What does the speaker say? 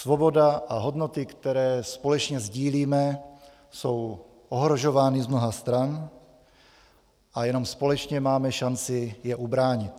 Svoboda a hodnoty, které společně sdílíme, jsou ohrožovány z mnoha stran a jenom společně máme šanci je ubránit.